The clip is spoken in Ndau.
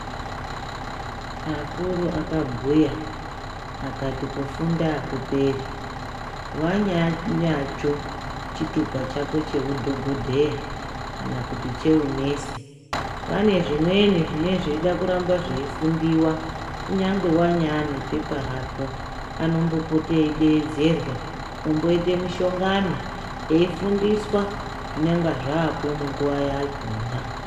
Akuru akabhuya akati kufunda akuperi wanya nacho chitupa chako chehu dhokodheya kana kuti chehunesi pane zvimweni zvinenge zvichida kuramba zveifundiwa kunyangwe wane nepepa rake anombopota eidedzerwa oita mishongano eifundiswa zvinenge zvapo munguwa yakona.